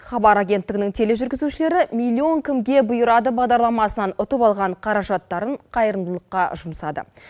хабар агенттігінің тележүргізушілері миллион кімге бұйырады бағдарламасынан ұтып алған қаражаттарын қайырымдылыққа жұмсады